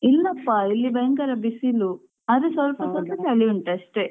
ಇಲ್ಲಪ್ಪಾ ಇಲ್ಲಿ ಭಯಂಕರ ಬಿಸಿಲು ಆದ್ರು ಸ್ವಲ್ಪ ಸ್ವಲ್ಪ ಚಳಿ ಉಂಟು ಅಷ್ಟೇ.